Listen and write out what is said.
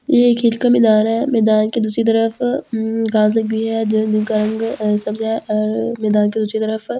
यह खेत का मैदान है मैदान के दूसरी तरफ उम घास लगी हुई है जिन जिनका रंग अ सब्ज है मैदान के दूसरी तरफ बड़ियाँ --